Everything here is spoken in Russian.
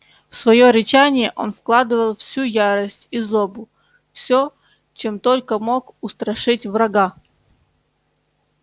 в своё рычание он вкладывал всю ярость и злобу всё чем только мог устрашить врага